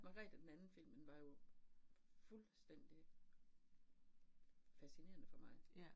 Magrethe den anden filmen var jo fuldstændig fascinerende for mig